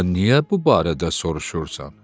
Sən niyə bu barədə soruşursan?